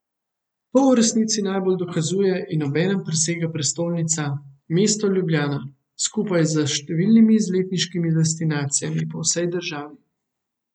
To v resnici najbolje dokazuje in obenem presega prestolnica, mesto Ljubljana, skupaj s številnimi izletniškimi destinacijami po vsej državi.